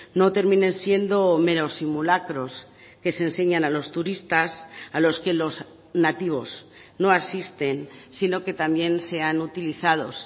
no terminen siendo menos simulacros que se enseñan a los turistas a los que los nativos no asisten sino que también sean utilizados